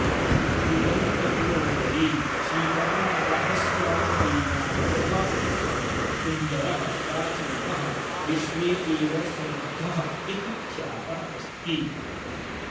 तिरुवनन्तपुरनगरे श्रीपद्मनाभस्वामिदेवालयः सुन्दरः प्राचीनः विश्वे एव समृद्धः इति ख्यातः अस्ति